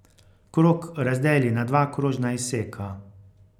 Krog razdeli na dva krožna izseka.